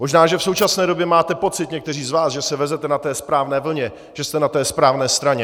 Možná že v současné době máte pocit někteří z vás, že se vezete na té správné vlně, že jste na té správné straně.